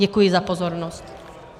Děkuji za pozornost.